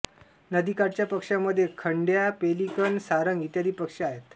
नदीकाठच्या पक्ष्यांमध्ये खंड्या पेलिकन सारंग इ पक्षी आहेत